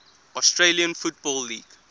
australian football league